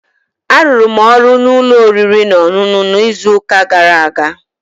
Arụrụ m ọrụ n'ụlọ oriri na ọṅụṅụ n'izuụka gara aga